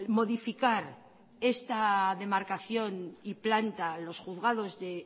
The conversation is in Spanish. modificar esta demarcación y planta a los juzgados de